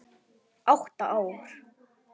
Átta ár.